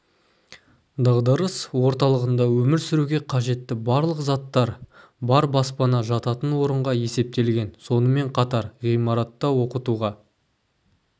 дағдарыс орталығында өмір сүруге қажетті барлық заттар бар баспана жататын орынға есептелген сонымен қатар ғимаратта оқытуға